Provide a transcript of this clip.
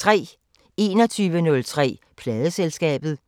21:03: Pladeselskabet